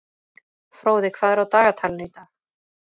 Fróði, hvað er á dagatalinu í dag?